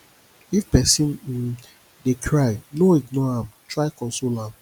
if pesin um dey cry no ignore am try console am